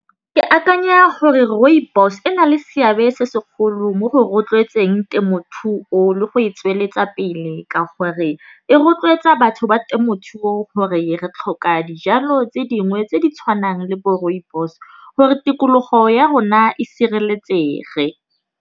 Ke akanya gore rooibos e na le seabe se segolo mo go rotloetseng temothuo le go e tsweletsa pele. Ka gore e rotloetsa batho ba temothuo gore re tlhoka dijalo tse dingwe tse di tshwanang le bo rooibos gore tikologo ya rona e sireletsege.